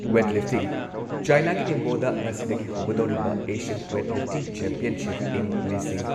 weight lifting ꯆꯥꯏꯅꯥꯒꯤ ꯅꯤꯡꯕꯣꯗ ꯉꯁꯤꯗꯒꯤ ꯍꯧꯒꯗꯣꯔꯤꯕ ꯑꯦꯁꯤꯌꯟ ꯋꯦꯠ ꯂꯤꯐꯇꯤꯡ ꯆꯦꯝꯄꯤꯌꯟꯁꯤꯞ, ꯢꯪ ꯂꯤꯁꯤꯡ